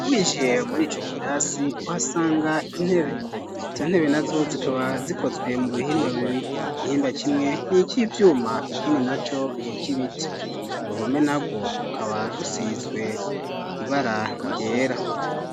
Winjiye murico Kirasi uhasanga intebe izo ntebe nazo zikaba zikozwe mu bihimba bibiri igihimba kimwe nivi vyuma ikindi naco niki biti uruhome narwo akaba rusizwe ibara ryera